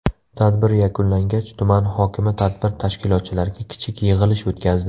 Tadbir yakunlangach tuman hokimi tadbir tashkilotchilariga kichik yig‘ilish o‘tkazdi.